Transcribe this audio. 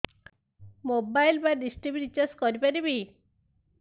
mobile ବା Dish TV recharge କରି ପାରିବି